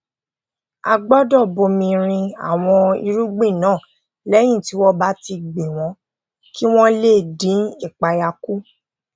a gbódò bomi rin àwọn irugbin náà léyìn tí wón bá ti gbìn wón kí wón lè dín ìpayà kù